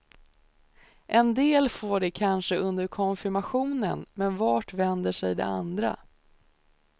En del får det kanske under konfirmationen, men vart vänder sig de andra?